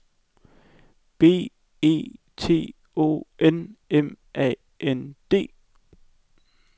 B E T O N M A N D